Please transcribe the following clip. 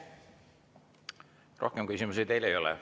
Rohkem küsimusi teile ei ole.